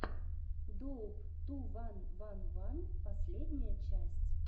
доуп ту ван ван ван последняя часть